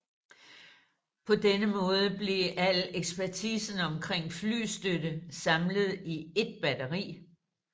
På denne måde blev al ekspertisen omkring flystøtte samlet i et batteri